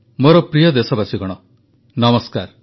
ମୋର ପ୍ରିୟ ଦେଶବାସୀଗଣ ନମସ୍କାର